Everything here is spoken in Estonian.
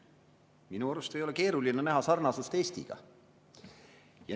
Minu arust ei ole keeruline näha siin sarnasust Eestiga.